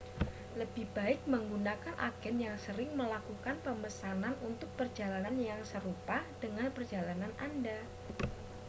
lebih baik menggunakan agen yang sering melakukan pemesanan untuk perjalanan yang serupa dengan perjalanan anda